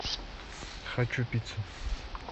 хочу пиццу